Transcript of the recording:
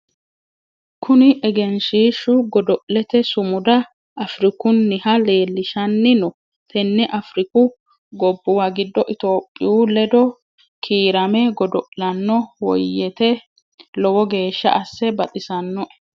Kunni egenshiishu godo'lete sumuda afirikunniha leelishanni no. Tenne afiriku gobuwa gido itophiyu ledo kiirame godo'lano woyeete lowo geesha ase baxisanoe.